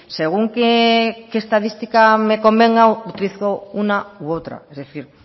según qué estadística me convenga utilizo una u otra es decir